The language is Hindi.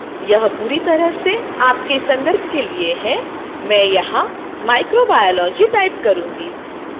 यह पूरी तरह से आपके संदर्भ के लिए है